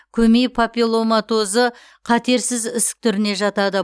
көмей папилломатозы қатерсіз ісік түріне жатады